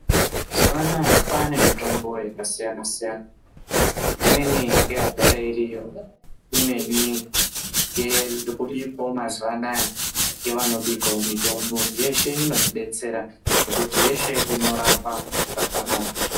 Mazuwa anaa kwane mitombo yakasiyana siyana, imweni ngeyagara iriyo , imweni ngeiri kubikwawo mazuwa anaa ngevanobikawo mitombo .Yeshe inotidetsera ngekuti yeshe inorapa zvakanaka.